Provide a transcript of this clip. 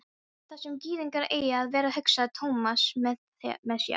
Þar sem gyðingar eiga að vera, hugsaði Thomas með sér.